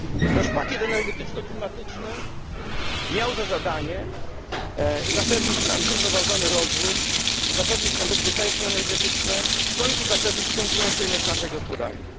Nasz pakiet energetyczno klimatyczny miał za zadanie zapewnić nam zrównoważony rozwój, zapewnić nam bezpieczeństwo energetyczne, w końcu zapewnić konkurencyjność naszej gospodarki.